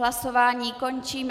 Hlasování končím.